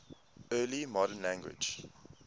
early modern english